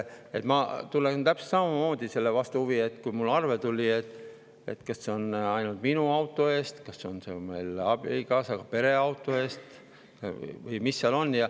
Ma tunnen täpselt samamoodi selle vastu huvi, et kas see arve, mis mulle tuli, on ainult minu auto eest, kas see on meile abikaasaga pere auto eest või mis seal on.